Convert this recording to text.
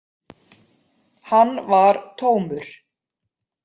Hann var tómur.